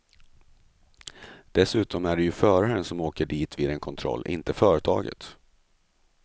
Dessutom är det ju föraren som åker dit vid en kontroll, inte företaget.